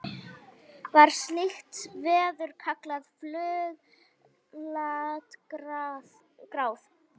var slíkt veður kallað fuglagráð